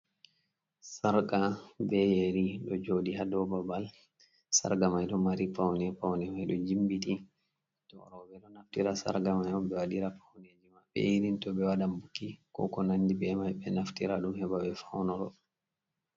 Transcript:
Sarga be yeeri ɗo jooɗi ha dou babal, sarga mai ɗo mari paune paune mai ɗo jimbiti, to roɓe ɗo naftira sarga mai ɓe waɗira pauneji maɓɓe irin to ɓe waɗan buki, ko ko nandi be mai ɓe naftira ɗum heɓa ɓe faunoro.